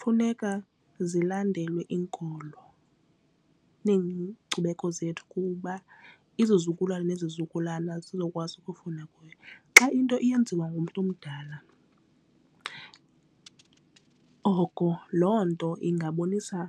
Funeka zilandelwe iinkolo neenkcubeko zethu kuba izizukulwana nezizukulwana zizokwazi ukufunda. Xa into iyenziwa ngumntu omdala oko loo nto ingabonisa